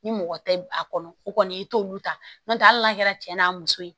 Ni mɔgɔ tɛ a kɔnɔ o kɔni i t'olu ta n'o tɛ hali n'a kɛra cɛ n'a muso ye